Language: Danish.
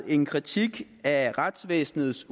en kritik af retsvæsenets